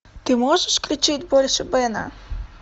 ты можешь включить больше бена